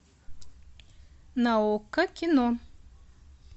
на окко кино